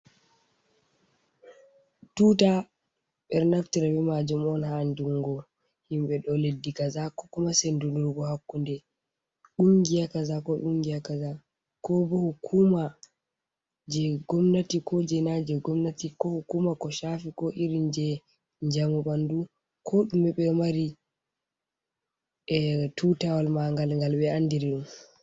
Tuta maajum on, haa andunngo himɓe ɗo leddi kaza. Ko kuma sendinirgo hakkunde dungiya kaza ko kungiya kaza. Ko hukuma jey gomnati ko jey na jey gomnati, ko hukuma ko cafi ko iri jey njamu ɓanndu. Ko ɗume ɗo mari tutawal maagal ngal ɓe andiri ɗum.